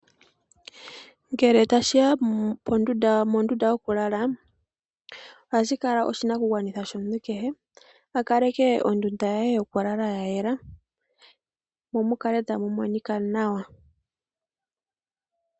Ngele tashi ya mondunda yokulala ohashi kala oshinakugwanithwa shomuntu kehe a kaleke ondunda ye yokulala ya yela mo mukale tamu monika nawa.